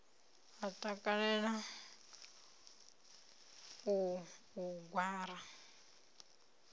a takalela u u gwara